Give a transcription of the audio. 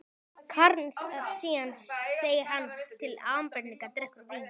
Keisaraynjan segir hann til ábendingar, drekkur vín